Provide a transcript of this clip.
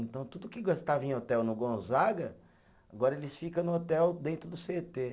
Então, tudo que gastava em hotel no Gonzaga, agora eles fica no hotel dentro do cê tê.